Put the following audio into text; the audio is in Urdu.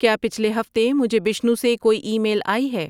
کیا پچھلے ہفتے مجھے بشنو سے کوئی ایمیل آئی ہے